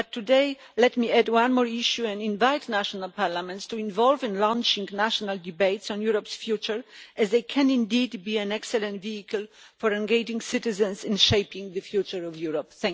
But today, let me add one more issue and invite national parliaments to get involved in launching national debates on Europe's future as they can indeed be an excellent vehicle for engaging citizens in shaping the future of Europe.